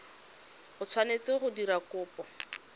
o tshwanetseng go dira kopo